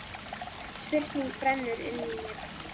Spurning brennur inn í mér allri.